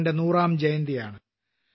ആറിന്റെ 100ാം ജയന്തിയാണ്